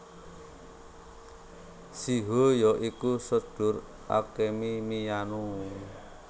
Shiho ya iku sedulur Akemi Miyano